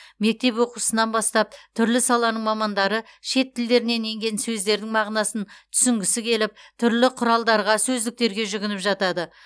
мектеп оқушысынан бастап түрлі саланың мамандары шет тілдерінен енген сөздердің мағынасын түсінгісі келіп түрлі құралдарға сөздіктерге жүгініп жатады